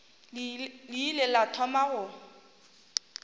le ile la thoma go